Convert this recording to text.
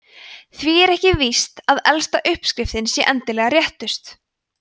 því er ekki víst að elsta uppskriftin sé endilega réttust